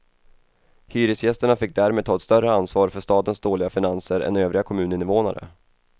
Hyresgästerna fick därmed ta ett större ansvar för stadens dåliga finanser än övriga kommuninvånare.